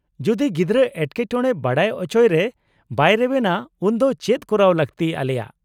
-ᱡᱩᱫᱤ ᱜᱤᱫᱽᱨᱟᱹ ᱮᱴᱠᱮᱴᱚᱬᱮ ᱵᱟᱰᱟᱭ ᱚᱪᱚᱭ ᱨᱮ ᱵᱟᱭ ᱨᱮᱵᱮᱱᱟ ᱩᱱᱫᱚ ᱪᱮᱫ ᱠᱚᱨᱟᱣ ᱞᱟᱹᱠᱛᱤ ᱟᱞᱮᱭᱟᱜ ?